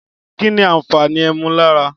Kínì àfàni ẹmú làrá?